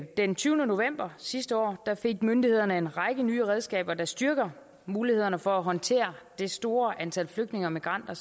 den tyvende november sidste år fik myndighederne en række nye redskaber der styrker mulighederne for at håndtere det store antal flygtninge og migranter